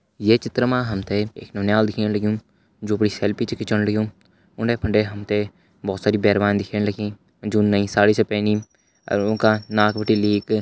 ये चित्र मा हमते एक नौनियाल दिखेण लग्युं जू अपड़ी सेल्फी छ खिचण लग्युँ उंडे फंडे हमते भौत सारी बेरवान दिखेण लगीं जू नई साड़ी च पैनी अर ऊंका नाक बटि लीके --